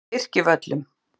Birkivöllum